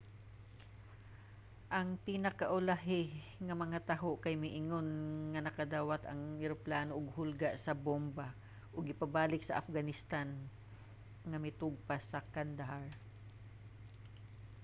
ang pinaka-ulahi nga mga taho kay miingon nga nakadawat ang eroplano og hulga sa bomba ug gipabalik sa afghanistan nga mitugpa sa kandahar